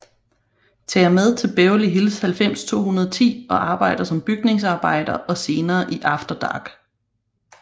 Tager med til Beverly Hills 90210 og arbejder som bygningsarbejder og senere i After Dark